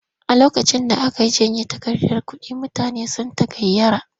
A lokacin da aka janye takardar kuɗi mutane sun tagayyara.